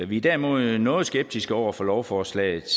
vi er derimod noget skeptiske over for lovforslaget